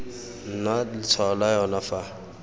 nna letshwao la yona fa